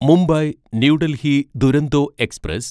Mumbai new Delhi Duronto express